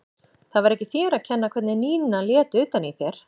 Það var ekki þér að kenna hvernig Nína lét utan í þér.